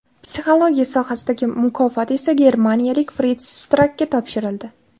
Psixologiya sohasidagi mukofot esa germaniyalik Frits Strakka topshirildi.